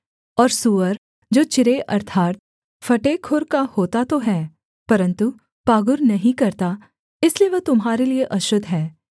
और सूअर जो चिरे अर्थात् फटे खुर का होता तो है परन्तु पागुर नहीं करता इसलिए वह तुम्हारे लिये अशुद्ध है